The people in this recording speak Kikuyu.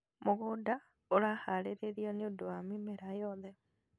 Mũgũnda ũraharĩrio nĩ ũndũ wa mĩmera yothe.